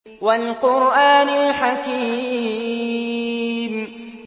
وَالْقُرْآنِ الْحَكِيمِ